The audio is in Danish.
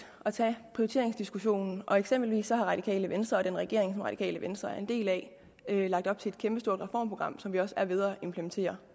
at tage prioriteringsdiskussionen eksempelvis har radikale venstre og den regering radikale venstre er en del af lagt op til et kæmpestort reformprogram som vi også er ved at implementere